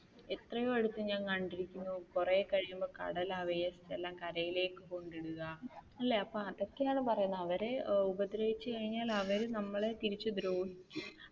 എത്രയോ അടുത്ത് ഞാൻ കണ്ടിരിക്കുന്നു കുറെ കഴിയുമ്പോൾ കടൽ അവയെ എല്ലാം കരയിലേക്ക് കൊണ്ടുവരിക അല്ലെ അപ്പൊ അതൊക്കെയാണ് പറയുന്ന അവരെ ഉപദ്രവിച്ചു കഴിഞ്ഞാൽ അവർ നമ്മളെ തിരിച്ചു ദ്രോഹിക്കും